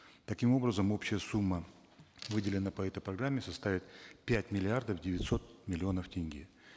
таким образом общая сумма выделенная по этой программе составит пять миллиардов девятьсот миллионов тенге